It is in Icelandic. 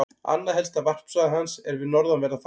Annað helsta varpsvæði hans er við norðanverðan Faxaflóa.